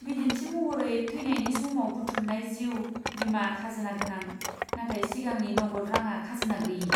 बिदिन्थि महरै, थैनायनि समाव बुथुमनाय जिउ बीमाआ खाजोना गोनां, नाथाय सिगांनि नगद रांआ खाजोना गैयि।